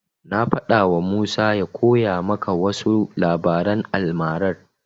Na faɗawa Musa ya koya maka wasu labaran almarar.